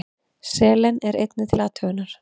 Selen er einnig til athugunar.